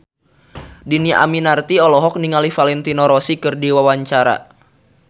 Dhini Aminarti olohok ningali Valentino Rossi keur diwawancara